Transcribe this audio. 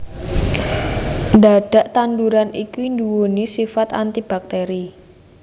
Dhadhak tanduran iki duwéni sifat antibakteri